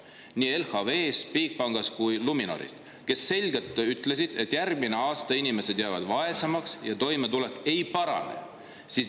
Nii LHV‑st, Bigbankist kui ka Luminorist öeldi selgelt, et järgmine aasta jäävad inimesed vaesemaks ja toimetulek ei parane.